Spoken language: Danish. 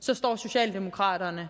så står socialdemokraterne